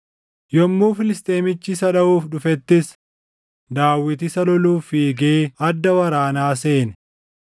Yommuu Filisxeemichi isa dhaʼuuf dhufettis Daawit isa loluuf fiigee adda waraanaa seene.